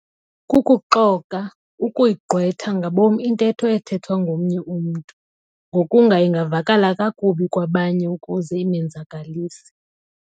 Kukuxoka, ukuyigqwetha ngabom intetho ethethwa ngomnye umntu, ngokunga ingavakala kakubi kwabanye ukuze imenzakalise.